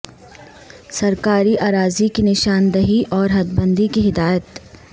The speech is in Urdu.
سرکاری اراضی کی نشاندہی اور حد بندی کی ہدایت